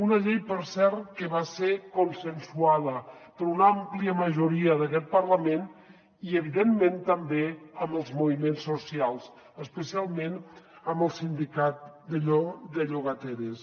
una llei per cert que va ser consensuada per una àmplia majoria d’aquest parlament i evidentment també amb els moviments socials especialment amb el sindicat de llogateres